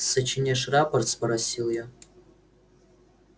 сочиняешь рапорт спросил я